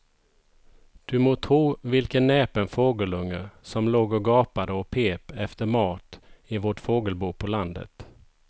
Du må tro vilken näpen fågelunge som låg och gapade och pep efter mat i vårt fågelbo på landet.